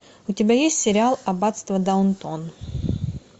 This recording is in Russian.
у тебя есть сериал аббатство даунтон